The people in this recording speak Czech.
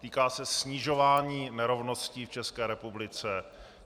Týká se snižování nerovností v České republice.